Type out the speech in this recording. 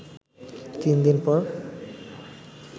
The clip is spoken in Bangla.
তিন দিন পর